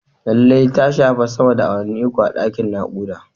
Lallai ta shafe sama da awanni uku a dakin nakuda